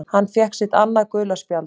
Hann fékk sitt annað gula spjald